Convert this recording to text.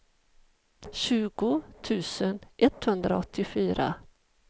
tjugo tusen etthundraåttiofyra